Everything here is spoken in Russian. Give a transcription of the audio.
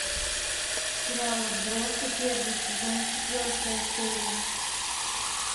сериал отбросы первый сезон четвертая серия